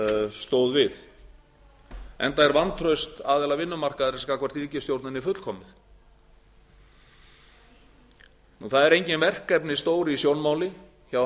stóð við enda er vantraust aðila vinnumarkaðarins gagnvart ríkisstjórninni fullkomið það eru engin verkefni stór í sjónmáli hjá